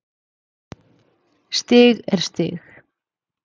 Stig er stig.